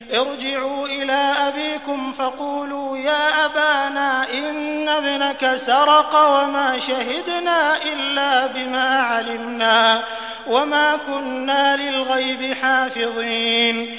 ارْجِعُوا إِلَىٰ أَبِيكُمْ فَقُولُوا يَا أَبَانَا إِنَّ ابْنَكَ سَرَقَ وَمَا شَهِدْنَا إِلَّا بِمَا عَلِمْنَا وَمَا كُنَّا لِلْغَيْبِ حَافِظِينَ